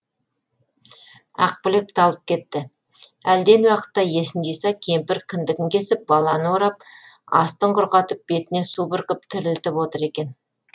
ақбілек талып кетті әлден уақытта есін жиса кемпір кіндігін кесіп баланы орап астын құрғатып бетіне су бүркіп тірілтіп отыр екен